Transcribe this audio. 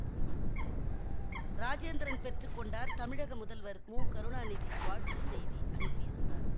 ராஜேந்திரன் பெற்று கொண்டார் தமிழக முதல்வர் முகருணாநிதி வாழ்த்து செய்தி அனுப்பியிருந்தார்